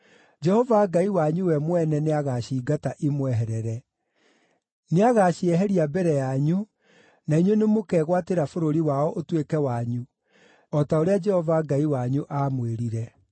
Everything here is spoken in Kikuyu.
Jehova Ngai wanyu we mwene nĩagaciingata imweherere. Nĩagacieheria mbere yanyu, na inyuĩ nĩmũkegwatĩra bũrũri wao ũtuĩke wanyu, o ta ũrĩa Jehova Ngai wanyu aamwĩrire.